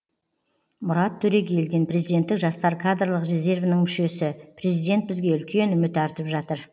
мұрат төрегелдин президенттік жастар кадрлық резервінің мүшесі президент бізге үлкен үміт артып жатыр